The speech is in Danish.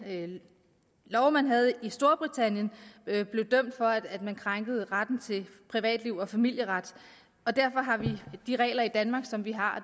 at den lov man havde i storbritannien krænkede retten til privatliv og familieretten derfor har vi de regler i danmark som vi har